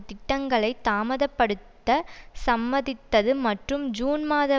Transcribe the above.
திட்டங்களை தாமதப்படுத்த சம்மதித்தது மற்றும் ஜுன் மாத